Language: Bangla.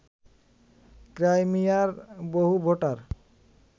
ক্রাইমিয়ার বহু ভোটার